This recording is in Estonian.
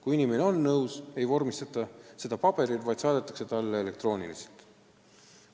Kui inimene on nõus, ei vormistata seda otsust paberil, vaid saadetakse talle elektrooniliselt.